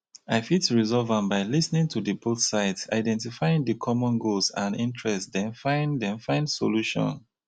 i fit resolve am by lis ten ing to di both sides identifying di common goals and interests then find then find solution.